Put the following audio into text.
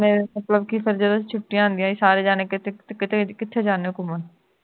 ਮੇਰੇ ਮਤਲਬ ਕੀ ਛੁੱਟੀਆਂ ਹੁੰਦੀਆਂ ਸੀ ਸਾਰੇ ਜਾਣੇ ਕਿੱਥੇ ਕਿਥੇ ਜਾਂਦੇ ਹੋ ਘੁੰਮਣ